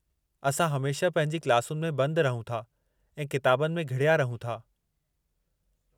असां हमेशह पंहिंजी क्लासुनि में बंद रहूं था ऐं किताबुनि में घिड़या रहूं था।